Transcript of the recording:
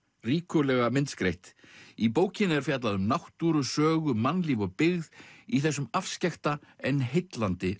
ríkulega myndskreytt í bókinni er fjallað um náttúru sögu mannlíf og byggð í þessum afskekkta en heillandi